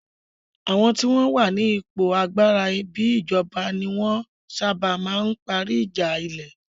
Àwọn tí wọ́n wà ní ipò agbára bíi ìjọba ní wọ́n ń sábà ma ń parí ìjà ilẹ̀